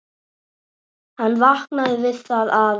Hann vaknaði við það að